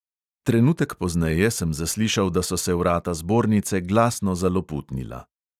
Trenutek pozneje sem zaslišal, da so se vrata zbornice glasno zaloputnila.